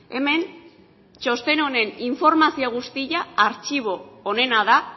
hemen txosten honen informazio guztia artxibo onena da